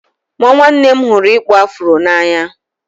Nwa nwanne m hụrụ ịkpụ afro n'anya.